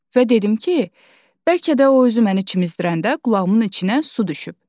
Və dedim ki, bəlkə də o özü məni çimizdirəndə qulağımın içinə su düşüb.